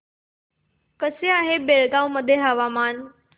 कसे आहे बेळगाव मध्ये हवामान